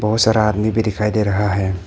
बहुत सारा आदमी भी दिखाई दे रहा है।